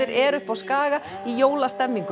er uppi á Skaga í jólastemningu